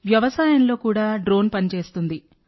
వ్యవసాయంలో కూడా డ్రోన్ పని చేస్తుంది